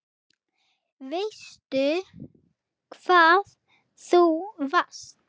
Veistu hvar þú varst?